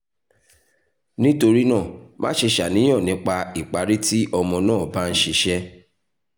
nitorina maṣe ṣàníyàn nipa ipari ti ọmọ naa ba n ṣiṣẹ